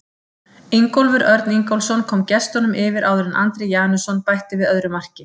Ingólfur Örn Ingólfsson kom gestunum yfir áður en Andri Janusson bætti við öðru marki.